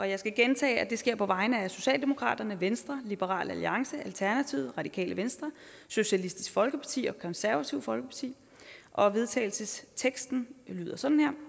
jeg skal gentage at det sker på vegne af socialdemokratiet venstre liberal alliance alternativet radikale venstre socialistisk folkeparti og det konservative folkeparti og vedtagelsesteksten lyder sådan her